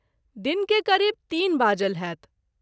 दिन के करीब ३ बाजल होयत।